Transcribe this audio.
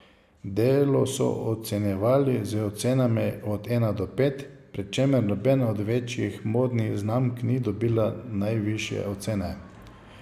Delo so ocenjevali z ocenami od ena do pet, pri čemer nobena od večjih modnih znamk ni dobila najvišje ocene.